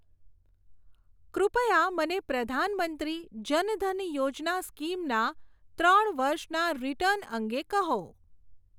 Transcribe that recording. કૃપયા મને પ્રધાન મંત્રી જન ધન યોજના સ્કીમ ના ત્રણ વર્ષના રીટર્ન અંગે કહો.